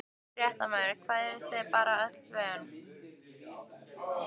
Fréttamaður: Hvað, eruð þið bara öllu vön?